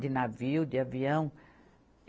De navio, de avião?